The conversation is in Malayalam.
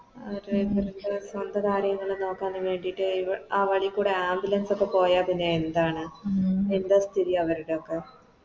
ആ Driver ൻറെ സ്വന്തം കാര്യങ്ങള് നോക്കാന് വേണ്ടിട്ട് ഈ ആ വളി കൂടെ Ambulance ഒക്കെ പോയ പിന്നെ എന്താണ് എന്ത സ്ഥിതി അവരുടെയൊക്കെ